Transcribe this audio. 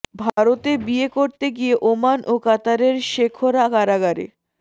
ভারতে বিয়ে করতে গিয়ে ওমান ও কাতারের শেখরা কারাগারে